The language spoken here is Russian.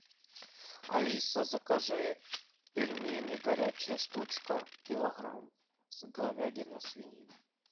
алиса закажи пельмени горячая штучка килограмм говядина свинина